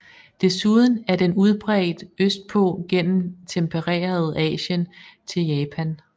Desuden er den udbredt østpå gennem tempereret Asien til Japan